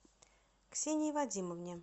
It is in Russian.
ксении вадимовне